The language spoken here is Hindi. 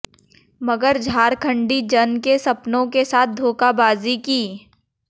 मगर झारखंडी जन के सपनों के साथ धोखाबाजी की